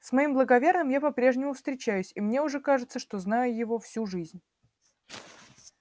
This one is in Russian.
с моим благоверным я по-прежнему встречаюсь и мне уже кажется что знаю его всю жизнь